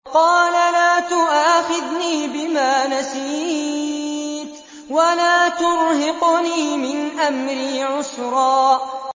قَالَ لَا تُؤَاخِذْنِي بِمَا نَسِيتُ وَلَا تُرْهِقْنِي مِنْ أَمْرِي عُسْرًا